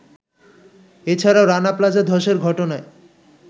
এছাড়াও রানা প্লাজা ধসের ঘটনায়